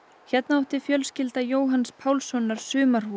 hérna átti fjölskylda Jóhanns Pálssonar sumarhús